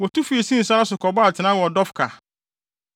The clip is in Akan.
Wotu fii Sin sare so kɔbɔɔ atenae Dofka.